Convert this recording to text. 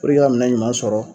A ka minɛ ɲuman sɔrɔ